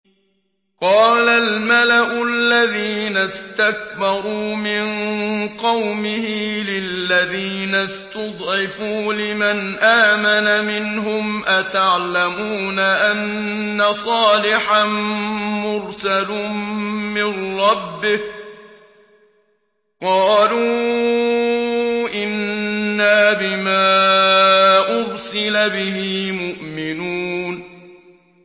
قَالَ الْمَلَأُ الَّذِينَ اسْتَكْبَرُوا مِن قَوْمِهِ لِلَّذِينَ اسْتُضْعِفُوا لِمَنْ آمَنَ مِنْهُمْ أَتَعْلَمُونَ أَنَّ صَالِحًا مُّرْسَلٌ مِّن رَّبِّهِ ۚ قَالُوا إِنَّا بِمَا أُرْسِلَ بِهِ مُؤْمِنُونَ